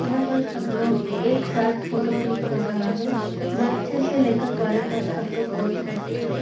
यहाँ पर सब लोग एक साथ फोटो क्लिक कर रहा है। बच्चे से ले कर बड़े तक सब लोगे बोहोत ही मज़े से --